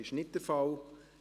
– Dies ist nicht der Fall.